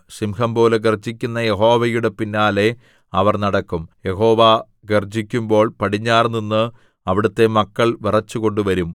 സിംഹംപോലെ ഗർജ്ജിക്കുന്ന യഹോവയുടെ പിന്നാലെ അവർ നടക്കും യഹോവ ഗർജ്ജിക്കുമ്പോൾ പടിഞ്ഞാറുനിന്ന് അവിടുത്തെ മക്കൾ വിറച്ചുകൊണ്ട് വരും